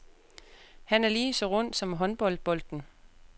Han er ligeså rund som håndboldbolden.